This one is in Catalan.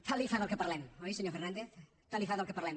tant li fa del que parlem oi senyor fernández tant li fa del que parlem